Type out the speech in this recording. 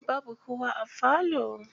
Babu kowa a falo.